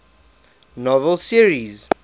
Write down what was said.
novel series